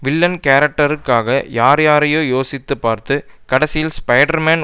villain கேரக்டருக்காக யார்யாரையோ யோசித்து பார்த்து கடைசியில் ஸ்பைடர்மேன்